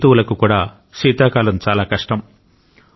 జంతువులకు కూడా శీతాకాలం చాలా కష్టం